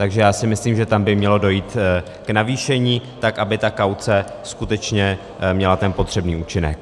Takže já si myslím, že tam by mělo dojít k navýšení, tak aby ta kauce skutečně měla ten potřebný účinek.